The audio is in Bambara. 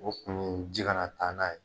O kun ye ji ka na taa n'a ye.